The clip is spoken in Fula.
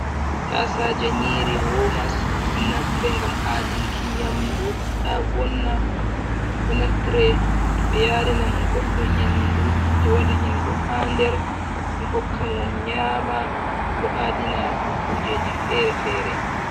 Tasaja nyiri womas. ɗo naftre ngam adunki nyamdu ta vonna, ɗo naftre to ɓe yarinan godɗo nyamdu ɓe waɗa nyamdu ha nder ɓe hokka mo nyama ɗo adina kujeji fere fere.